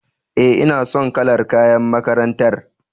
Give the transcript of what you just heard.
E, ina son kalar kayan makarantar.